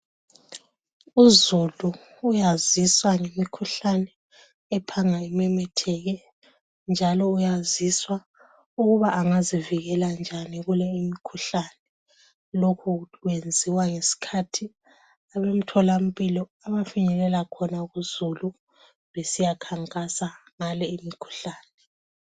Uzulu uyaziswa ngemikhuhlane ephanga imemetheke njalo uyaziswa ukuba angazivikela njani kulo umkhuhlane. Lokhu kwenziwa ngesikhathi abemtholampilo abafinyelela khona kuzulu, besiyakhankasa ngale imikhuhlane.